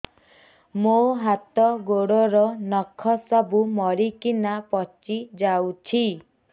ମୋ ହାତ ଗୋଡର ନଖ ସବୁ ମରିକିନା ପଚି ଯାଉଛି